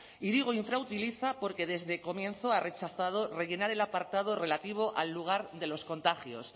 y digo infrautiliza porque desde el comienzo ha rechazado rellenar el apartado relativo al lugar de los contagios